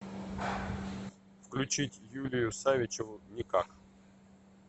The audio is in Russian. включить юлию савичеву никак